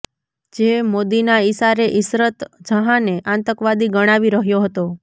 જે મોદીના ઇશારે ઇશરત જહાંને આતંકવાદી ગણાવી રહ્યો હતો